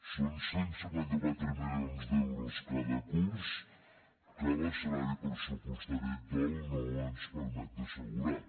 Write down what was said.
són cent i cinquanta quatre milions d’euros cada curs que l’escenari pressupostari actual no ens permet d’assegurar